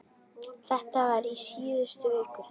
Þetta var í síðustu viku.